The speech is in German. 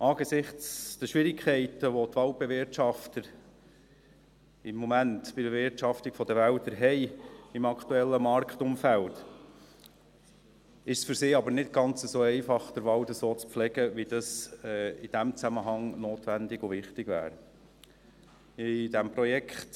Angesichts der Schwierigkeiten, welche die Waldbewirtschafter im Moment, im aktuellen Marktumfeld, bei der Bewirtschaftung der Wälder haben, ist es für sie aber nicht ganz einfach, den Wald so zu pflegen, wie es in diesem Zusammenhang notwendig und wichtig wäre.